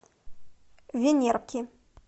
венерки